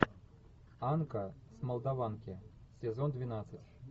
анка с молдаванки сезон двенадцать